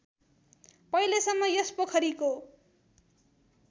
पहिलेसम्म यस पोखरीको